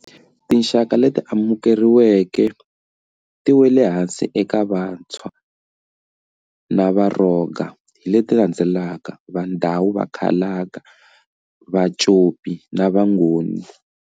Ti xaka leti amukeriweke ti weleke ehansi ka Vantshwa na VaRhonga hi leti landzelaka, Va Ndau, Va Khalanga, Va Copi, na Va Ngoni.